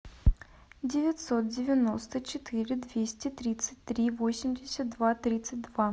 девятьсот девяносто четыре двести тридцать три восемьдесят два тридцать два